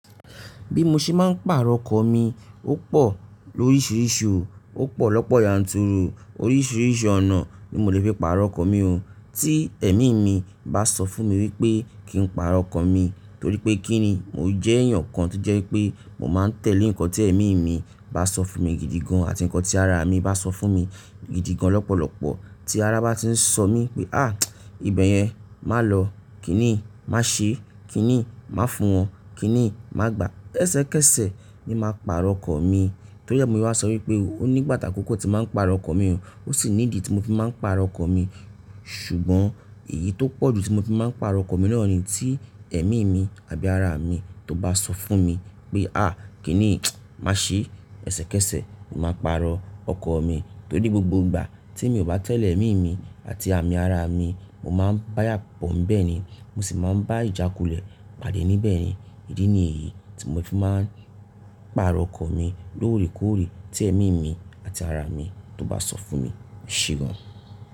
Bí mo ṣe máa ń pàrọ̀ ọkọ mi, ó pọ̀ lóríṣiríṣi o. Ó pọ̀ lọ́pọ̀ yanturu, oríṣiríṣi ọ̀nà ni mo lè fi pàrọ̀ ọkọ̀ mi o. Tí ẹ̀mí mi bá sọ fún mi wípé kí n pàrọ̀ ọkọ̀ mi, torí pé kí ni? Mo jẹ́ èèyàn kan tó jẹ́ wípé mo máa ń tẹ̀lé nǹkan tí ẹ̀mí mi bá sọ fún mi gidi gan àti nǹkan tí ara mi bá sọ fún mi gidi gan lọ́pọ̀lọpọ̀. Tí ara bá ti ń sọ mi pé, "àh! Ìbẹ̀ yẹn má lọ," kí niyi? "Má ṣe," kí ni? "Má fún wọn," kí ni "Má gbà." Kẹ́sẹ̀kẹ́sẹ̀ ni màá pàrọ̀ ọkọ̀ mi. Torí ẹ́, mo se wa sọ wípé ó ní ìgbà ati àkọ́kọ́ tí n màá ń pàrọ̀ ọkọ̀ mi o. Ó sì ní ìdí tí mo fi máa ń pàrọ̀ ọkọ̀ mi. Ṣùgbọ́n èyí tó pọ̀jù tí mo fi máa ń pàrọ̀ ọkọ̀ mi noni tí ẹ̀mí mi àbí ara mi tó bá sọ fún mi pé, "àh! Kí ni? Má ṣe." Kẹ́sẹ̀kẹ́sẹ̀ ni màá pàrọ̀ ọkọ̀ mi. Torí gbogbo ìgbà te mi ò bá tẹ̀lé ẹ̀mí mi àti àmì ara mi, mo máa ń bá iyàbọ̀ n bẹ́ẹ̀ ni, mo sì máa ń bá ìjàkulẹ̀ pàdé níbẹ̀ ni. Ídí nìyí tí mo fi máa ń pàrọ̀ ọkọ̀ mi lóòrèkóòrè tí ẹ̀mí mi àti ara mi tó bá sọ fún mi eṣeun.